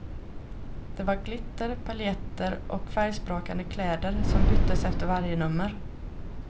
Det var glitter, paljetter och färgsprakande kläder som byttes efter varje nummer.